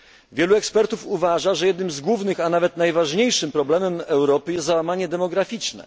Wielu ekspertów uważa, że jednym z głównych, a nawet najważniejszym problemem Europy jest załamanie demograficzne.